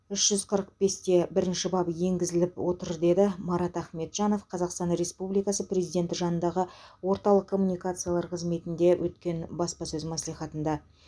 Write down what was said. үш жүз қырық бесте бірінші бабы енгізіп отыр деді марат ахметжанов қазақстан республикасы президенті жанындағы орталық коммуникациялар қызметінде өткен баспасөз мәслихатында